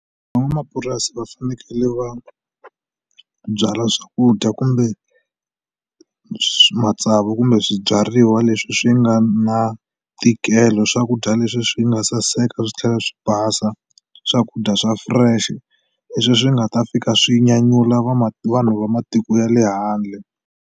Van'wamapurasi va fanekele va byala swakudya kumbe matsavu kumbe swibyariwa leswi swi nga na ntikelo swakudya leswi swi nga saseka swi tlhela swi basa swakudya swa fresh leswi swi nga ta fika swi nyanyula va vanhu va matiko ya le handle.